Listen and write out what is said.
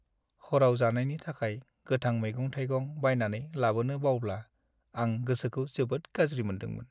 हराव जानायनि थाखाय गोथां मैगं-थाइगं बायनानै लाबोनो बावब्ला, आं गोसोखौ जोबोद गाज्रि मोनदोंमोन।